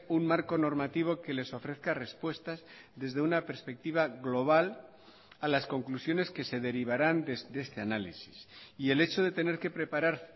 un marco normativo que les ofrezca respuestas desde una perspectiva global a las conclusiones que se derivaran de este análisis y el hecho de tener que preparar